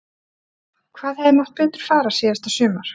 Hvað hefði mátt betur fara síðasta sumar?